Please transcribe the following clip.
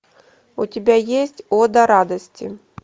у тебя есть ода радости